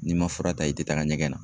N'i ma fura ta, i te taga ɲɛgɛn na.